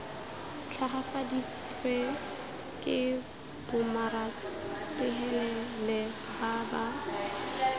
tlhagafaditswe ke bomaratahelele ba ba